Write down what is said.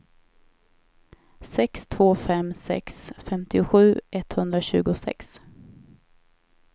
sex två fem sex femtiosju etthundratjugosex